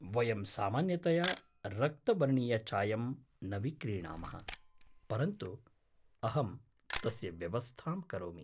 वयं सामान्यतया रक्तवर्णीयचायं न विक्रीणामः, परन्तु अहं तस्य व्यवस्थां करोमि।